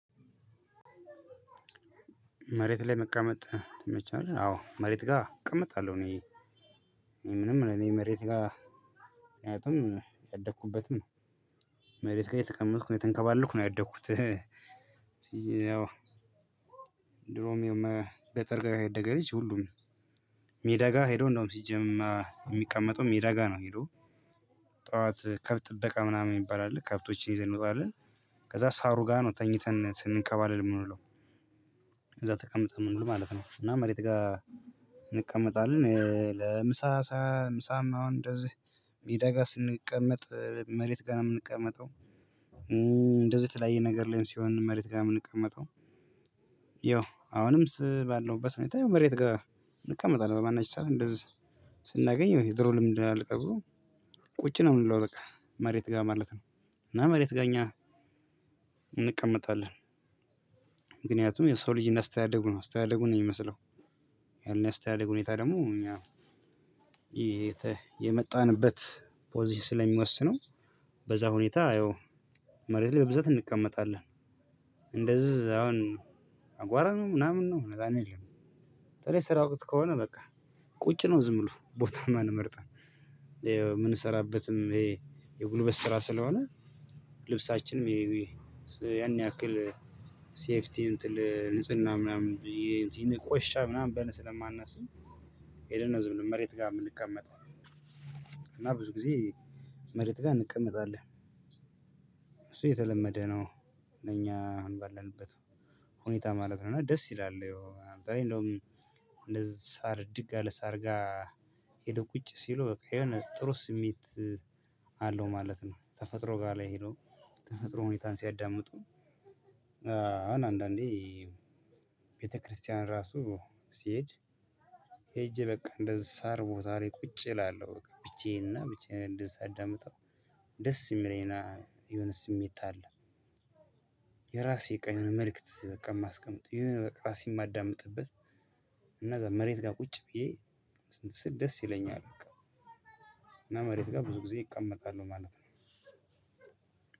መሬት ላይ መቀመጥ ይመችሃል አዎ መሬት ጋር እቀመጣለሁ። እኔ ምንም እኔ መሬት ጋር ምክንያቱም ያደኩበትም ነው መሬት ጋር የተቀመጥኩ ነው የተንከባለልኩ ነው ያደኩት። ያው ድሮም የመ ገጠር ጋ ያደገ ልጅ ሁሉም ሜዳ ጋር ሄዶ እንደው ሲጀመር የሚቀመጠው ሜዳ ጋር ነው። ሄዶ ጠዋት ከብት ጥበቃ ምናምን ይባላል ከብቶችን ይዘን እንወጣለን። ከዛ ሳሩ ጋር ነው ተኝተን ስንከባለል የምንለው እዛ ተቀምጠህ የምንውለው ማለት ነው። እና መሬት ጋር እንቀመጣለን ለምሳ ሳ ምሳም አሁን እንደዚህ ሜዳ ጋር ስንቀመጥ መሬት ጋር ነው የምንቀመጠው። እንደዚህ ተለያየ ነገር ላይ ሲሆን መሬት ጋር ነው የምንቀመጠው። ያው አሁንም ስ ባለውበት ሁኔታ ይሄው መሬት ጋር እንቀመጣለን በማናቸውም ሰዓት እንደዚህ ስናገኝ የድሮ ልምድ አልቀር ብሎ ቁጭ ነው የምለው በቃ መሬት ጋር ማለት ነው። እና መሬት ጋር እኛ እንቀመጣለን። ምክንያቱም የሰው ልጅ እንዳስተዳደጉ ነው አስተዳደጉ ነው የሚመስለው። ያኔ ያስተዳደግ ሁኔታ ደግሞ እኛ የመጣንበት ፖዚሽን ስለሚወስነው በዛ ሁኔታ እየው መሬት ላይ በብዛት እንቀመጣለን። እንደዛ አሁን አቧራ ነው ምናምን ነው አረ አንልም። በተለይ ስራ ወቅት ከሆነ በቃ ቁጭ ነው ዝም ብሎ ቦታማ አንመርጥም። የምንሰራበትም ይሄ የጉልበት ስራ ስለሆነ ልብሳችንም ይሄ ያን ያክል ሴፍቲ ንጽህና ምናምን ይቆሽሻል ምናምን ብለን ስለማናስብ ሄደን ነው ዝም ብለን መሬት ጋር የምንቀመጠው። እና ብዙ ጊዜ መሬት ጋር እንቀመጣለን። እሱ የተለመደ ነው ለኛ አሁን ባላንበት ሁኔታ ማለት ነው። እና ደስ ይላል ይኸው አንዳንዴ እንደውም እንደዚህ ሳር እድግ ያለ ሳር ጋር ሄዶ ቁጭ ሲሉ የሆነ ጥሩ ስሜት አለው ማለት ነው። ተፈጥሮ ጋር ላይ ሄዶ ተፈጥሮ ሁኔታን ሲያዳምጡ አሁን አንዳንዴ ቤተክርስቲያን ራሱ ሲሄድ ሄጄ በቃ እንደዚህ ሳር ቦታ ላይ ቁጭ እላለሁ ብቻዬንና ብቻዬን እንደዛ አዳምጠው ደስ የሚለኝ የሆነ ስሜት አለ። የራሴ የቀኑ መልእክት በቃ የማስቀምጥ የሆነ ራሴን የማዳምጥበት መሬት ጋር ቁጭ ብዬ እንትን ስል ደስ ይለኛል። እና መሬት ጋር ብዙ ጊዜ እቀመጣለሁ ማለት ነው።